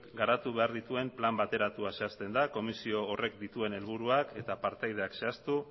garatu behar dituen plan bateratua zehazten da komisio horrek dituen helburuak eta partaideak zehaztu